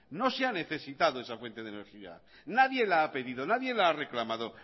no se ha necesitado esa fuente de energía nadie la ha pedido nadie la ha reclamado